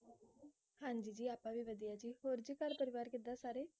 ਹਾਂਜੀ ਜੀ ਆਪਾਂ ਵੀ ਵਧੀਆ ਜੀ ਹੋਰ ਜੀ ਘਰ ਪਰਿਵਾਰ ਕਿਦਾਂ ਸਾਰੇ?